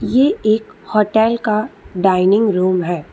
ये एक होटल का डाइनिंग रूम है।